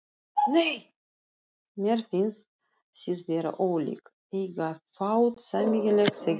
Mér finnst þið vera ólík, eiga fátt sameiginlegt, segir hann.